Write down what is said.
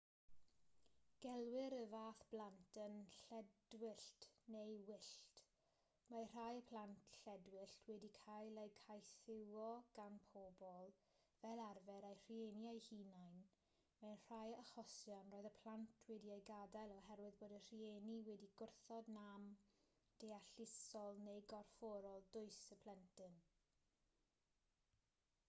gelwir y fath blant yn lledwyllt neu wyllt. mae rhai plant lledwyllt wedi cael eu caethiwo gan bobl fel arfer eu rhieni eu hunain; mewn rhai achosion roedd y plant wedi'u gadael oherwydd bod y rhieni wedi gwrthod nam deallusol neu gorfforol dwys y plentyn